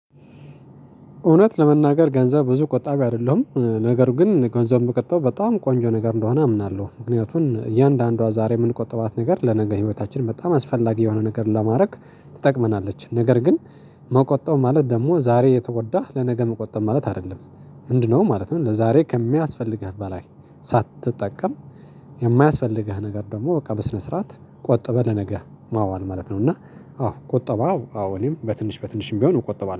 እውነት ለመናገር ገንዘብ ብዙ ቆጣቢ አይደለሁም ነገሩ ግን ገንዘብ በቀጥታው በጣም ቆንጆ ነገር እንደሆነ አምናለሁ። ምክንያቱም እያንዳንዷ ዛሬ የምንቆጥባት ነገር ለነገ ህይወታችን በጣም አስፈላጊ የሆነ ነገር ለማድረግ ትጠቅመናለች ነገር ግን መቆጠብ ማለት ደግሞ ዛሬ የተጎዳህ ለነገ መቆጠብ ማለት አይደለም። ምንድነው ማለት ነው? ለዛሬ ከሚያስፈልግህ በላይ ሳትጠቀም የማያስፈልግህ ነገር ደግሞ በቃ በስነ ስርዓት ቆጥበህ ለነገ ማዋል ማለት ነው። እና አዎ ቆጠባው አዎ እኔም በትንሽ በትንሽም ቢሆን እቆጥባለሁ